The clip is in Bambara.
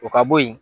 O ka bo yen